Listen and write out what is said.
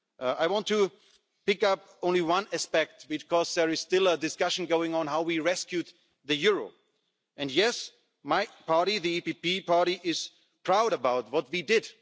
I want to pick up only one aspect because there is still a discussion going on about how we rescued the euro and yes, my party, the PPE party, is proud of what we did.